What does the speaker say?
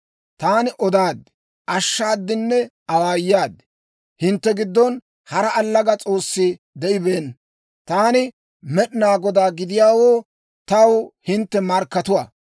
Taani odaad, ashshaadinne awaayaad. Hintte giddon hara allaga s'oossi de'ibeenna. Taani Med'inaa Godaa gidiyaawoo taw hintte markkatuwaa.